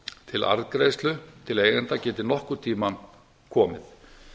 til arðgreiðslu til eigenda geti nokkurn tíma komið